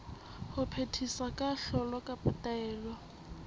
ho phethisa kahlolo kapa taelo